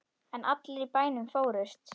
En allir í bænum fórust.